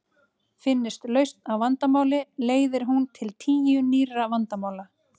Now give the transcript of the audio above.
Finnist lausn á vandamáli leiðir hún til tíu nýrra vandamála.